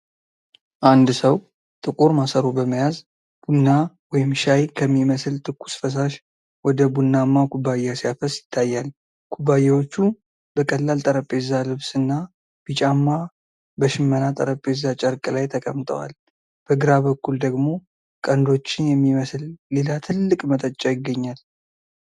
አንድ ሰው ጥቁር ማሰሮ በመያዝ ቡና ወይም ሻይ ከሚመስል ትኩስ ፈሳሽ ወደ ቡናማ ኩባያ ሲያፈስ ይታያል። ኩባያዎቹ በቀላል ጠረጴዛ ልብስ እና ቢጫማ በሽመና ጠረጴዛ ጨርቅ ላይ ተቀምጠዋል፤ በግራ በኩል ደግሞ ቀንዶችን የሚመስል ሌላ ትልቅ መጠጫ ይገኛል።